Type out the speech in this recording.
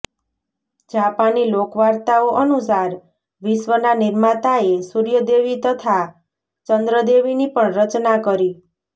જાપાની લોકવાર્તાઓ અનુસાર વિશ્ર્વના નિર્માતાએ સૂર્ય દેવી તથા ચન્દ્ર દેવીની પણ રચના કરી